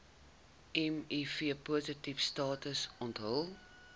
mivpositiewe status onthul